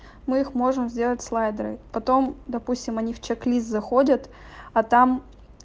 мы их можем сделать слайдеры потом допустим они в чек-лист заходят а там